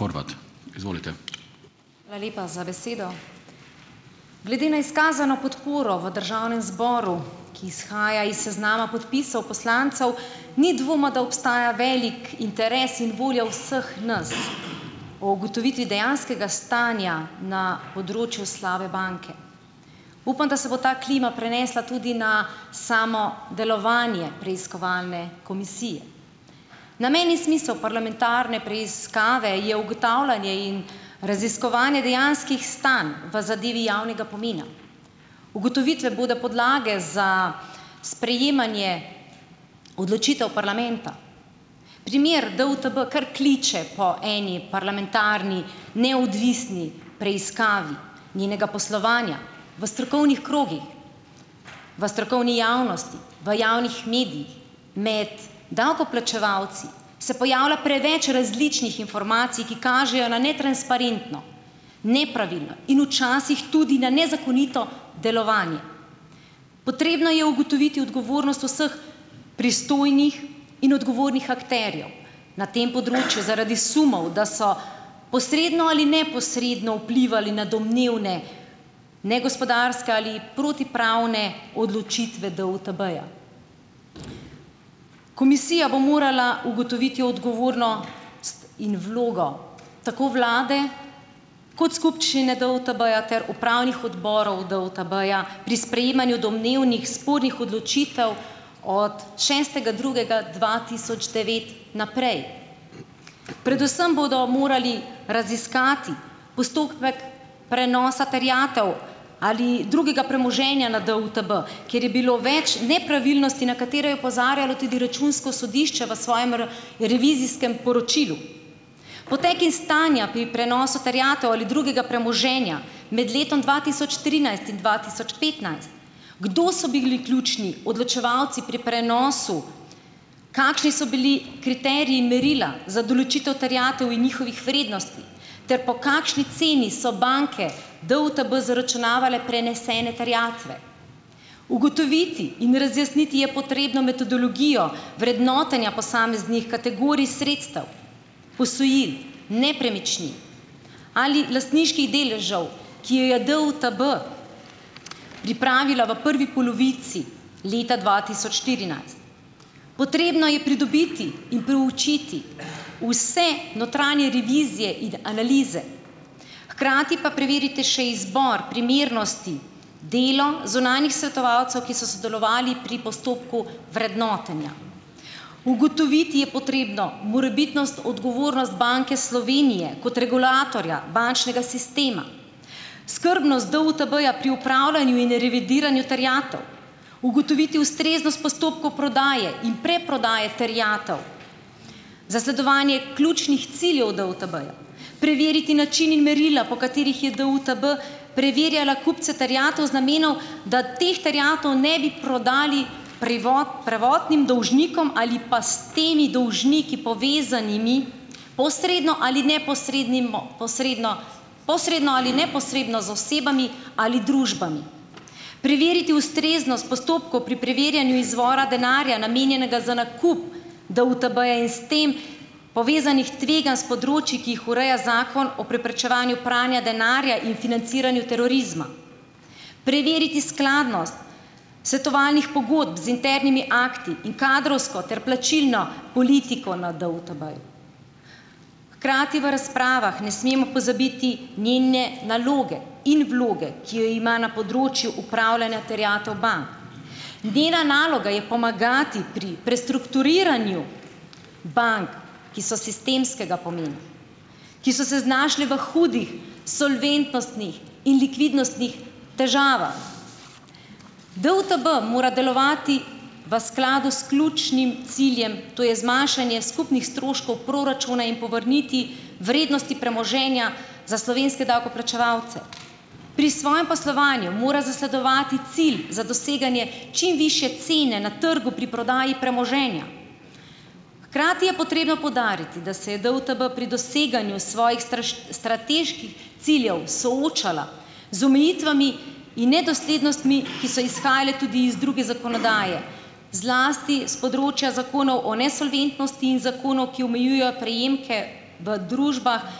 Hvala lepa za besedo. Glede na izkazano podporo v državnem zboru, ki izhaja iz seznama podpisov poslancev, ni dvoma, da obstaja velik interes in volja vseh nas o ugotovitvi dejanskega stanja na področju slabe banke. Upam, da se bo ta klima prenesla tudi na samo delovanje preiskovalne komisije. Namen in smisel parlamentarne preiskave je ugotavljanje in raziskovanje dejanskih stanj v zadevi javnega pomena. Ugotovitve bodo podlage za sprejemanje odločitev parlamenta. Primer DUTB kar kliče po eni parlamentarni neodvisni preiskavi njenega poslovanja. V strokovnih krogih, v strokovni javnosti, v javnih medijih, med davkoplačevalci se pojavlja preveč različnih informacij, ki kažejo na netransparentno, nepravilno in včasih tudi na nezakonito delovanje. Potrebno je ugotoviti odgovornost vseh pristojnih in odgovornih akterjev na tem področju zaradi sumov, da so posredno ali neposredno vplivali na domnevne negospodarske ali protipravne odločitve DUTB-ja. Komisija bo morala ugotoviti in vlogo tako vlade kot skupščine DUTB-ja ter upravnih odborov DUTB-ja pri sprejemanju domnevnih spornih odločitev od šestega drugega dva tisoč devet naprej. Predvsem bodo morali raziskati postopek prenosa terjatev ali drugega premoženja na DUTB, kjer je bilo več nepravilnosti, na katere je opozarjalo tudi računsko sodišče v svojem revizijskem poročilu. Potek in stanja pri prenosu terjatev ali drugega premoženja med letom dva tisoč trinajst in dva tisoč petnajst, kdo so bili ključni odločevalci pri prenosu, kakšni so bili kriteriji in merila za določitev terjatev in njihovih vrednosti ter po kakšni ceni so banke DUTB zaračunavale prenesene terjatve. Ugotoviti in razjasniti je potrebno metodologijo vrednotenja posameznih kategorij sredstev, posojil, nepremičnin ali lastniških deležev, ki jo je DUTB pripravila v prvi polovici leta dva tisoč štirinajst. Potrebno je pridobiti in proučiti vse notranje revizije in analize, hkrati pa preveriti še izbor primernosti, delo zunanjih svetovalcev, ki so sodelovali pri postopku vrednotenja. Ugotoviti je potrebno morebitnost, odgovornost Banke Slovenije kot regulatorja bančnega sistema. Skrbnost DUTB-ja pri upravljanju in revidiranju terjatev, ugotoviti ustreznost postopkov prodaje in preprodaje terjatev. Zasledovanje ključnih ciljev DUTB-ja, preveriti način in merila po katerih je DUTB preverjala kupce terjatev z namenov, da teh terjatev ne bi prodali prvotnim dolžnikom ali pa s temi dolžniki povezanimi posredno ali neposredno, posredno, posredno ali neposredno z osebami ali družbami. Preveriti ustreznost postopkov pri preverjanju izvora denarja namenjenega za nakup DUTB-ja in s tem povezanih tveganj s področij, ki jih ureja Zakon o preprečevanju pranja denarja in financiranju terorizma. Preveriti skladnost svetovalnih pogodb z internimi akti in kadrovsko ter plačilno politiko na DUTB-ju. Hkrati v razpravah ne smemo pozabiti njene naloge in vloge, ki jo ima na področju upravljanja terjatev bank. Njena naloga je pomagati pri prestrukturiranju bank, ki so sistemskega pomena, ki so se znašle v hudih solventnostih in likvidnostnih težavah. DUTB mora delovati v skladu s ključnim ciljem, to je zmanjšanje skupnih stroškov proračuna in povrniti vrednosti premoženja za slovenske davkoplačevalce. Pri svojem poslovanju mora zasledovati cilj za doseganje čim višje cene na trgu pri prodaji premoženja. Hkrati je potrebno poudariti, da se je DUTB pri doseganju svojih strateških ciljev soočala z omejitvami in nedoslednostmi, ki so izhajale tudi iz druge zakonodaje, zlasti s področja zakonov o nesolventnosti in zakonov, ki omejujejo prejemke v družbah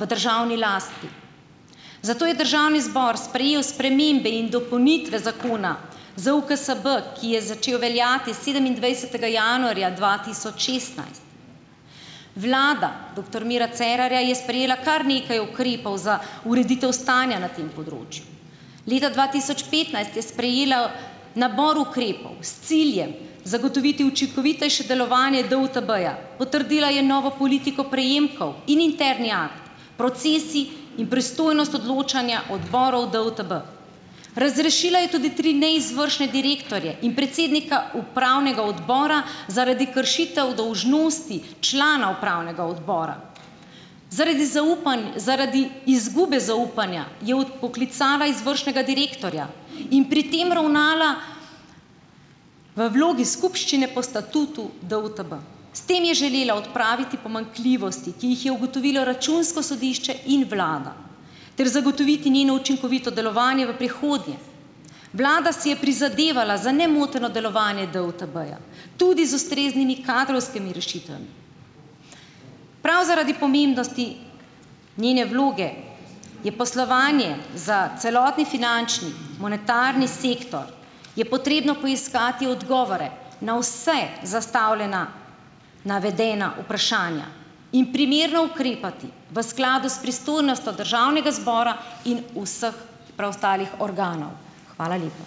v državni lasti. Zato je državni zbor sprejel spremembe in dopolnitve zakona ZUKSB, ki je začel veljati sedemindvajsetega januarja dva tisoč šestnajst. Vlada doktor Mira Cerarja je sprejela kar nekaj ukrepov za ureditev stanja na tem področju. Leta dva tisoč petnajst je sprejela nabor ukrepov s ciljem zagotoviti učinkovitejše delovanje DUTB-ja, potrdila je novo politiko prejemkov in interni akt, procesij in pristojnost odločanja odborov DUTB. Razrešila je tudi tri neizvršne direktorje in predsednika upravnega odbora zaradi kršitev dolžnosti člana upravnega odbora. Zaradi zaradi izgube zaupanja je odpoklicala izvršnega direktorja in pri tem ravnala v vlogi skupščine po statutu DUTB. S tem je želela odpraviti pomanjkljivosti, ki jih je ugotovilo računsko sodišče in vlada, ter zagotoviti njeno učinkovito delovanje v prihodnje. Vlada si je prizadevala za nemoteno delovanje DUTB-ja, tudi z ustreznimi kadrovskimi rešitvami. Prav zaradi pomembnosti njene vloge je poslovanje za celotni finančni monetarni sektor, je potrebno poiskati odgovore na vse zastavljena navedena vprašanja in primerno ukrepati v skladu s pristojnostjo državnega zbora in vseh preostalih organov. Hvala lepa.